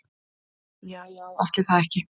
Ja já ætli það ekki.